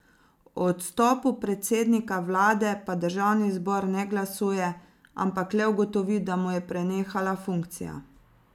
O odstopu predsednika vlade pa državni zbor ne glasuje, ampak le ugotovi, da mu je prenehala funkcija.